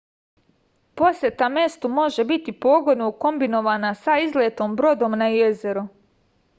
poseta mestu može biti pogodno ukombinovana sa izletom brodom na jezero